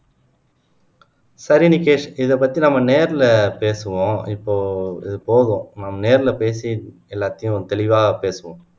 சரி நிக்கேஷ் இத பத்தி நம்ம நேர்ல பேசுவோம் இப்போ இத போவோம் நம்ம நேர்ல பேசி எல்லாத்தையும் தெளிவா பேசுவோம்